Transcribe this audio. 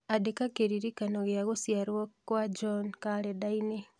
Andĩka kĩririkano gĩa gũciarũo kwa John kalenda-inĩ